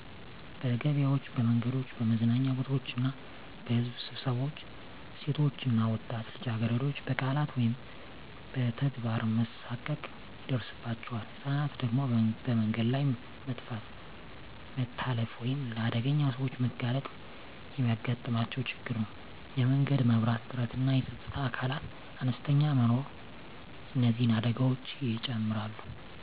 በገበያዎች፣ በመንገዶች፣ በመዝናኛ ቦታዎች እና በሕዝብ ስብሰባዎች ሴቶች እና ወጣት ልጃገረዶች በቃላት ወይም በተግባር መሳቀቅ ይደርሳባቸዋል። ህፃናት ደግሞ በመንገድ ላይ መጥፋት፣ መታለፍ ወይም ለአደገኛ ሰዎች መጋለጥ የሚያጋጥማቸው ችግር ነው። የመንገድ መብራት እጥረትና የፀጥታ አካላት አነስተኛ መኖር እነዚህን አደጋዎች ይጨምራሉ።